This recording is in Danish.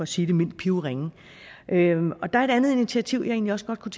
sige det mildt er pivringe der er et andet initiativ jeg egentlig også godt kunne